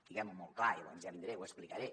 diguem ho molt clar i llavors ja vindré i ho explicaré